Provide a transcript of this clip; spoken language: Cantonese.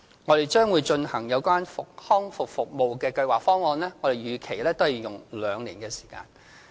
我們將會進行有關康復服務的計劃方案，我們也預期須用上兩年的時間。